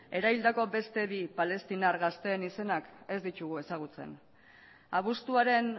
eraildako beste bi palestinar gazteen izenak ez ditugu ezagutzen abuztuaren